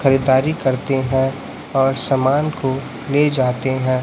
खरीदारी करते हैं और समान को ले जाते हैं।